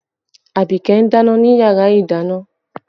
Abike ń dáná ni yàrá ìdáná